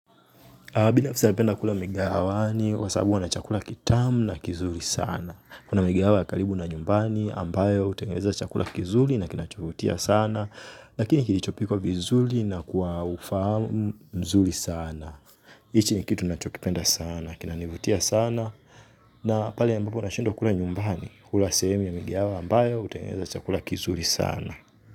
Binafsi napenda kula mikahawani kwa sababu wana chakula kitamu na kizuri sana. Kuna mikahawa ya karibu na nyumbani ambayo hutengeneza chakula kizuri na kinachovutia sana. Lakini kilichopikwa vizuri na kuwa ufahamu mzuri sana. Hichi ni kitu ninachokipenda sana, kinanivutia sana. Na pale ambapo nashindwa kula nyumbani hula sehemu ya mikahawa ambayo hutengeneza chakula kizuri sana.